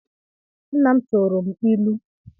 Nna m tuuru m ịlụ